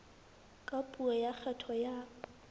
ka puo ya kgetho ya